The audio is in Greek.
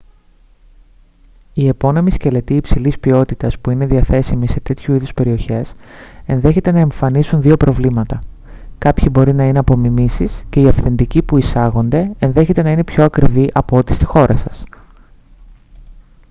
οι επώνυμοι σκελετοί υψηλής ποιότητας που είναι διαθέσιμοι σε τέτοιου είδους περιοχές ενδέχεται να εμφανίσουν δύο προβλήματα: κάποιοι μπορεί να είναι απομιμήσεις και οι αυθεντικοί που εισάγονται ενδέχεται να είναι πιο ακριβοί από ό,τι στη χώρα σας